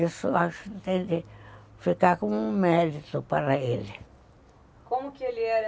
Isso acho que tem que ficar como um mérito para ele. Como que ele era?